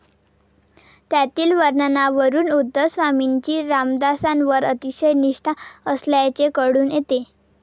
त्यातील वर्णनावरून उद्धव स्वामींची रामदासांवर अतिशय निष्ठा असल्याचे कळून येते.